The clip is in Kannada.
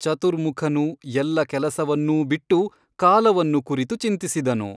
ಚತುರ್ಮುಖನು ಎಲ್ಲ ಕೆಲಸವನ್ನೂ ಬಿಟ್ಟು ಕಾಲವನ್ನು ಕುರಿತು ಚಿಂತಿಸಿದನು.